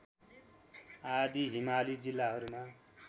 आदि हिमाली जिल्लाहरूमा